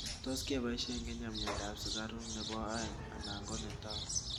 tuus kepaishe kenya mianda ap sugaruk nepo aeng ana konatau